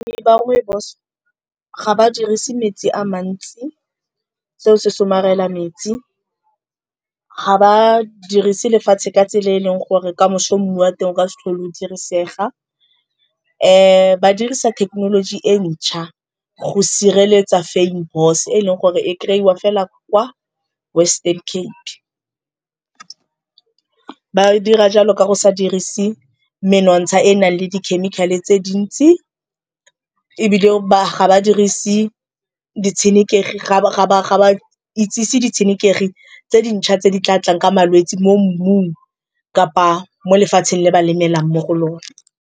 Balemi ba rooibos ga ba dirise metsi a mantsi seo se somarela metsi. Ga ba dirise lefatshe ka tsela e leng gore kamoso mmu wa teng o ka se tlhole o dirisega. Ba dirisa thekenoloji e ntšha go sireletsa Fynbos e leng gore e kry-iwa fela kwa Western Cape. Ba dira jalo ka go sa dirise menontsha e nang le dikhemikhale tse dintsi, ebile ga ba dirise ditshenekegi ga ba itsise ditshenekegi tse dintšha tse di tla tlang ka malwetse mo mmung kapa mo lefatsheng le ba lemelang mo go lona.